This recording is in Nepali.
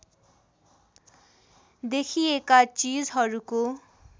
देखिएका चिजहरूको